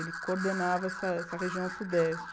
Ele coordenava essa essa região sudeste.